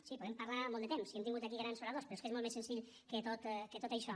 sí podem parlar molt de temps i hem tingut aquí grans oradors però és que molt més senzill que tot això